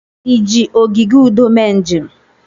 Ị ji ogige udo mee njem?